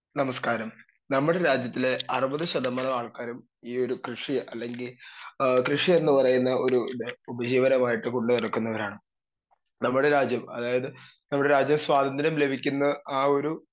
speaker 2 നമസ്ക്കാരം, നമ്മുടെ രാജ്യത്തിലെ അറുപത് ശതമാനം ആൾക്കാരും ഈ ഒരു കൃഷി അല്ലെങ്കി എ കൃഷിയെന്ന് പറയുന്ന ഏ ഒരിത് ഉപജീവനമായിട്ട് കൊണ്ട്നടക്കുന്നവരാണ് നമ്മുടെ രാജ്യം അതായത് നമ്മുടെ രാജ്യം സ്വാതന്ത്ര്യം ലഭിക്കുന്ന ആ ഒരു